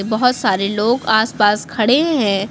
बहोत सारे लोग आस पास खड़े हैं।